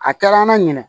A kɛra an na ɲinɛ